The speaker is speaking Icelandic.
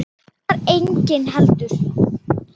Þar var enginn heldur.